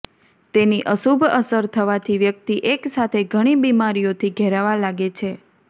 તેની અશુભ અસર થવાથી વ્યક્તિ એક સાથે ઘણી બીમારીઓથી ઘેરાવા લાગે છે